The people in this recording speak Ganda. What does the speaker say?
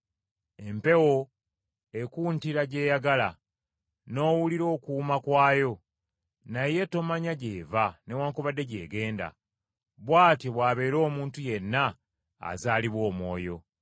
Empewo ekuntira gy’eyagala, n’owulira okuwuuma kwayo, naye tomanya gy’eva newaakubadde gyegenda; bw’atyo bw’abeera omuntu yenna azaalibwa Omwoyo.”